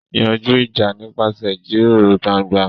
Yanjú ìjà nípasẹ̀ ìjíròrò gbangba.